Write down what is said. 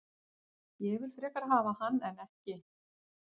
Ég vil frekar hafa hann en ekki.